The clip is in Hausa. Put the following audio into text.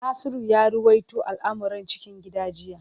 Nasiru ya ruwaito al’amuran cikin gida jiya.